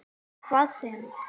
Hvað sem